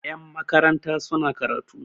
yanmakaranta suna karatu